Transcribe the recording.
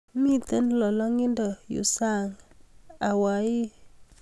Miten lolongindo yuu sang Hawaii